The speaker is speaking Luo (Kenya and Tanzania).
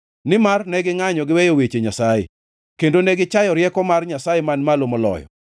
nimar ne gingʼanyo giweyo weche Nyasaye kendo ne gichayo rieko mar Nyasaye Man Malo Moloyo.